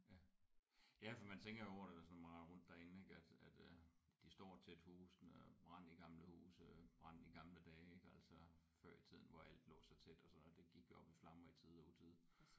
Ja. Ja for man tænker jo over det hvis man render rundt derinde ik at at øh de står tæt husene og brand i gamle huse øh brand i gamle dage ik altså før i tiden hvor alt lå så tæt og sådan noget det gik jo op i flammer i tide og utide